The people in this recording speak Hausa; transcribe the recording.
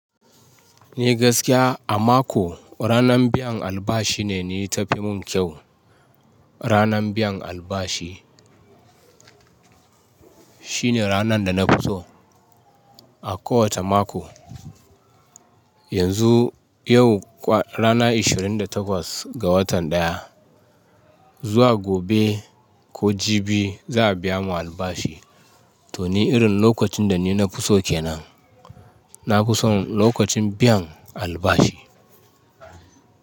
Eh gaskiya a mako ranan biyan albashi ne na tafi min kyau. Ranan biyan albashi shine ranar da na fi so a kowace mako. Yanzu yau ranan ishirin da takwas ga watan daya. Zuwa gobe ko jibi za a biya mu albashi. To ni irin lokacin da ni na fi so kenan. Na fi son lokacin biyan albashi.